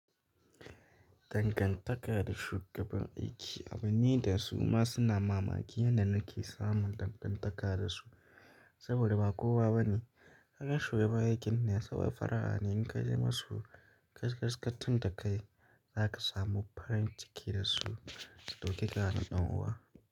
Dangan taka da shugaban aiki, abine da su ma suna mamaki yanda nake samun dangan taka dasu saboda ba kowa bane. Kagan shi bayan ginnasa ba farahanin ka zama su kaskaskan ta da kai zaka samu farin ciki da su. Doke ka na dan uwa.